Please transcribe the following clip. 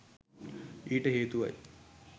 ඊට හේතුවයි.